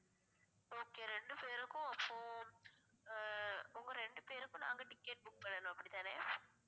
okay ரெண்டு பேருக்கும் அப்போ ஆஹ் உங்க ரெண்டு பேருக்கும் நாங்க ticket book பண்ணணும் அப்படித்தானே